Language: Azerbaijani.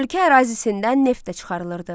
Ölkə ərazisindən neft də çıxarılırdı.